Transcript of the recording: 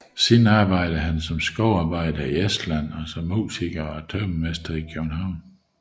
Siden arbejdede han som skovarbejder i Estland og som musiker og tømrermester i København